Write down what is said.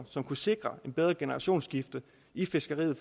som kunne sikre et bedre generationsskifte i fiskeriet